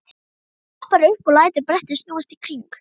Svo hopparðu upp og lætur brettið snúast í hring.